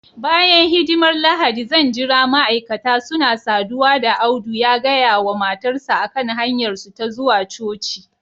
bayan hidimar Lahadi zan jira ma'aikata suna saduwa da Audu ya gaya wa matarsa ​​a kan hanyarsu ta zuwa coci